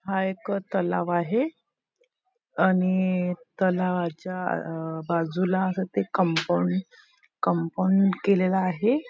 हा एक तलाव आहे आणि तलावाच्या अ बाजूला असं ते कंपाऊंड कंपाऊंड केलेल आहे.